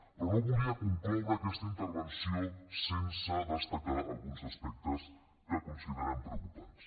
però no volia concloure aquesta intervenció sense destacar alguns aspectes que considerem preocupants